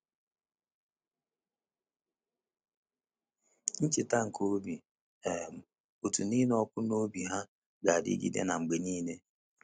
Ncheta nke obi um ụtọ na ịnụ ọkụ n’obi ha ga-adịgide na m mgbe niile.